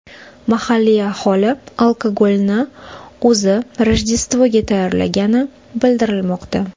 Mahalliy aholi alkogolni o‘zi Rojdestvoga tayyorlagani bildirilmoqda.